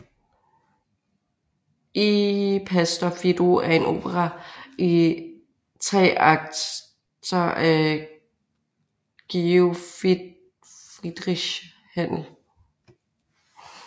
Il pastor fido er en opera i tre akter af Georg Friedrich Händel